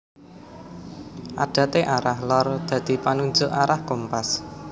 Adate arah lor dadi panunjuk arah kompas